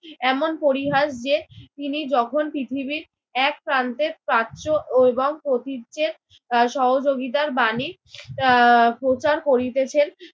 এমন পরিহাস যে তিনি যখন পৃথিবীর এক প্রান্তের প্রাচ্য এবং প্রতীচ্যের আহ সহযোগিতার বাণী আহ প্রচার করিতেছেন